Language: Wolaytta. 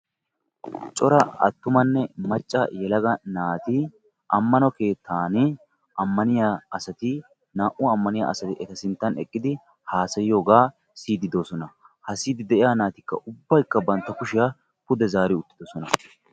cora attumanne macca yelaga naati ammano keettan ammaniyaa asati naa"u ammaniyaa asati eta sinttan eqqidi hassayiyooga siyyide de'oosona; ha siyyide de'iyaa naatikka ubbaykka bantta kushiyaa pude zaari uttidoosona.